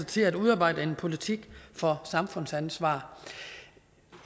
til at udarbejde en politik for samfundsansvar